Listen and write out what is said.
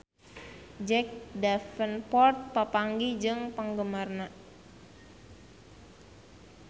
Jack Davenport papanggih jeung penggemarna